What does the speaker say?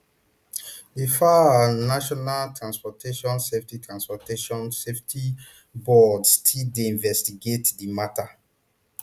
di faa and national transportation safety transportation safety board still dey investigate di mata